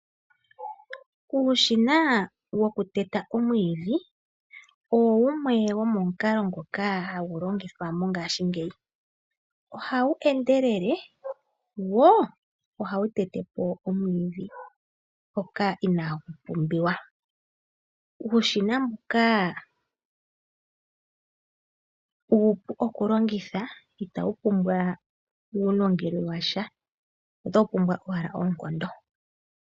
Uushina wokuteta omwiidhi owo wumwe wo momukalo ngoka hagu longithwa mongashingeyi oha wu endelele wo oha wutetepo omwiidhi mpoka inaa gu pumbiwa. Uushina mbuka uupu oku longitha ita wupumbwa uulongelwe washa ota wupumbwa owala oonkondo.